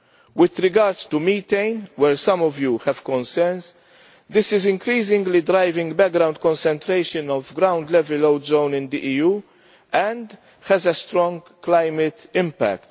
With regards to methane, where some Members have concerns, this is increasingly driving background concentration of ground level ozone in the EU, and has a strong climate impact.